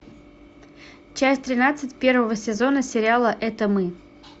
часть тринадцать первого сезона сериала это мы